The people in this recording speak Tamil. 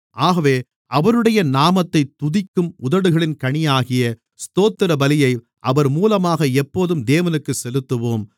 ஆகவே அவருடைய நாமத்தைத் துதிக்கும் உதடுகளின் கனியாகிய ஸ்தோத்திரபலியை அவர் மூலமாக எப்போதும் தேவனுக்குச் செலுத்துவோம்